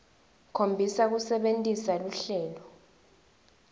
khombisa kusebentisa luhlelo